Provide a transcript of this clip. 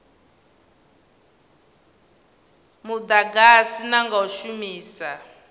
mudagasi na nga u shumisa